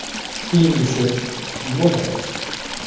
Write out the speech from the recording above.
Keyingisi kim bo‘ladi?